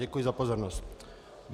Děkuji za pozornost.